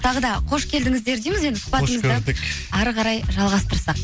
тағы да қош келдіңіздер дейміз енді сұхбатымызды хош көрдік ары қарай жалғастырсақ